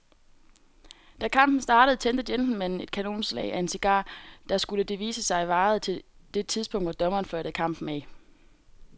Da kampen startede tændte gentlemanen et kanonslag af en cigar, der, skulle det vise sig, varede til det tidspunkt, hvor dommeren fløjtede kampen af.